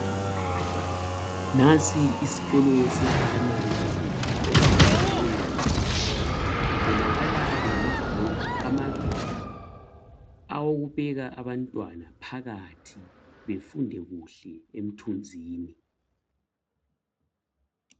Ngansi isikolo seprimary school esiyatshiweyo kubonakala ngamablokhu amabili awokuphika amantwana phakathi befunde kuhle emthunzini